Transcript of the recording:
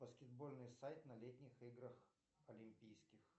баскетбольный сайт на летних играх олимпийских